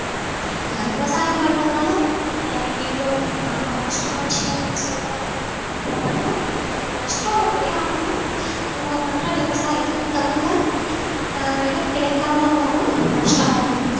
ஆஹ் விவசாயம் பண்றதுனால நான் எனக்கு இவ்வளவு ஆஹ் நஷ்டமாச்சே அப்படின்னு சொல்றாங்க யாராலயும் இருக்க முடியாது நஷ்டம் எப்படி ஆகும்ன்னு நம்ம பண்ற விவசாயத்துக்கு தகுந்த ஆஹ் விலை கிடைக்காம இருந்தாதான் நஷ்டமாகும்